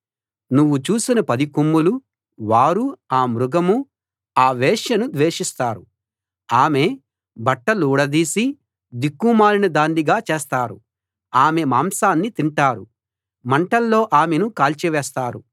నువ్వు చూసిన పది కొమ్ములువారూ ఆ మృగమూ ఆ వేశ్యను ద్వేషిస్తారు ఆమె బట్టలూడదీసి దిక్కుమాలిన దాన్నిగా చేస్తారు ఆమె మాంసాన్ని తింటారు మంటల్లో ఆమెను కాల్చివేస్తారు